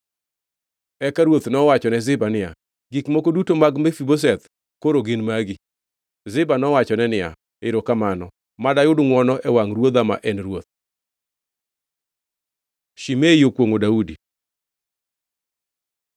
Eka ruoth nowachone Ziba niya, “Gik moko duto ma mag Mefibosheth koro gin magi.” Ziba nowachone niya, “Erokamano. Mad ayud ngʼwono e wangʼ ruodha ma en ruoth.” Shimei okwongʼo Daudi